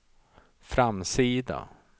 framsida